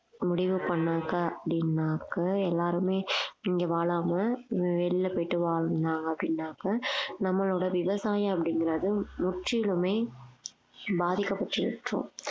முடிவு பண்ணாங்க அப்படின்னாக்க எல்லாருமே இங்க வாழாம ஆஹ் வெளியில போயிட்டு வாழலாம் அப்படின்னாக்க நம்மளோட விவசாயம் அப்படிங்கறது முற்றிலுமே பாதிக்கப்பட்டிருக்கும்